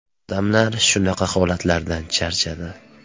Odamlar shunaqa holatlardan charchadi.